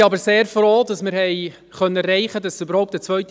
Wir sind aber sehr froh, dass wir eine zweite Lesung erreichen konnten.